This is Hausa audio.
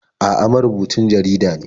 A'a, marubucin jarida ne.